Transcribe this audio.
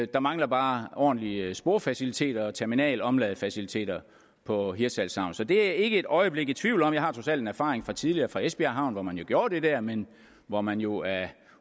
der mangler bare ordentlige sporfaciliteter og terminalomladefaciliteter på hirtshals havn så det er jeg ikke et øjeblik i tvivl om jeg har trods alt en erfaring fra tidligere fra esbjerg havn hvor man jo gjorde det der men hvor man jo af